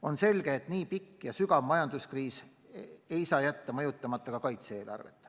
On selge, et nii pikk ja sügav majanduskriis ei saa jätta mõjutamata ka kaitse-eelarvet.